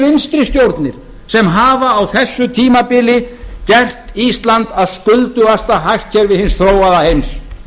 vinstri stjórnir sem hafa á þessu tímabili gert ísland að skuldugasta hagkerfi hins þróaða heims